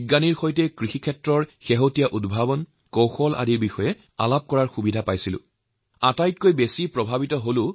কৃষি সংক্ৰান্তীয় বহু অভিজ্ঞতা জনা বুজি উঠা কৃষি সংক্ৰান্তীয় নতুন আৱিষ্কাৰৰ বিষয়ে জনা ইত্যাদি সকলো দিশেই মোৰ বাবে এক আনন্দদায়ক অনুভূতি প্ৰদান কৰিছিল